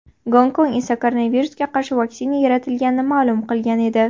Gonkong esa koronavirusga qarshi vaksina yaratilganini ma’lum qilgan edi.